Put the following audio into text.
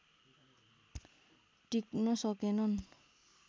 टिक्न सकेनन्